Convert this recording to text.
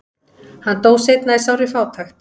hann dó seinna í sárri fátækt